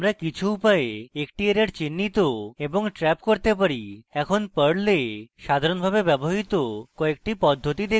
আমরা কিছু উপায়ে একটি error চিহ্নিত এবং trap করতে পারি এখন perl we সাধারণভাবে ব্যবহৃত কয়েকটি পদ্ধতি দেখবো